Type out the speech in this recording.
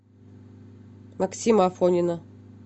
максима афонина